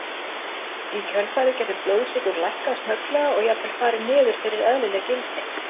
Í kjölfarið getur blóðsykur lækkað snögglega og jafnvel farið niður fyrir eðlileg gildi.